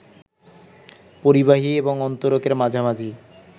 পরিবাহী এবং অন্তরকের মাঝামাঝি